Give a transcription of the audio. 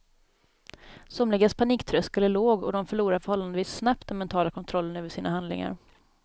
Somligas paniktröskel är låg och de förlorar förhållandevis snabbt den mentala kontrollen över sina handlingar.